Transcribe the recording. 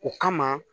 O kama